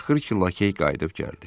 Axır ki lakey qayıdıb gəldi.